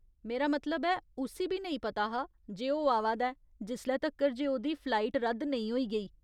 मेरा मतलब ऐ, उस्सी बी नेईं पता हा जे ओह् आवा दा ऐ जिसले तक्कर जे ओह्दी फ्लाइट रद्द नेईं होई गेई।